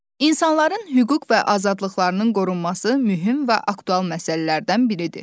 İnsanların hüquq və azadlıqlarının qorunması mühüm və aktual məsələlərdən biridir.